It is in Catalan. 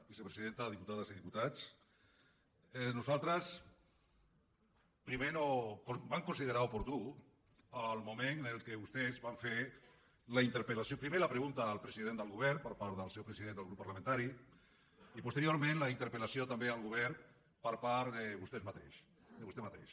vicepresidenta diputades i diputats nosaltres primer vam considerar oportú el moment en què vostès van fer primer la pregunta al president del govern per part del seu president del seu grup parlamentari i posteriorment la interpel·lació també al govern per part de vostè mateix